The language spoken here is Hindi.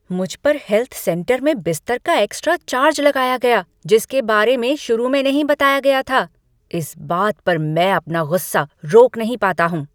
मुझ पर हेल्थ सेंटर में बिस्तर का एक्स्ट्रा चार्ज लगाया गया जिसके बारे में शुरू में नहीं बताया गया था। इस बात पर मैं अपना गुस्सा रोक नहीं पाता हूँ।